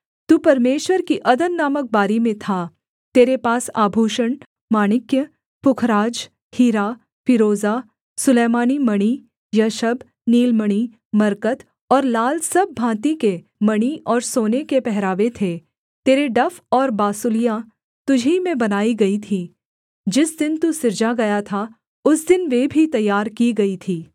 तू परमेश्वर की अदन नामक बारी में था तेरे पास आभूषण माणिक्य पुखराज हीरा फीरोजा सुलैमानी मणि यशब नीलमणि मरकत और लाल सब भाँति के मणि और सोने के पहरावे थे तेरे डफ और बाँसुलियाँ तुझी में बनाई गई थीं जिस दिन तू सिरजा गया था उस दिन वे भी तैयार की गई थीं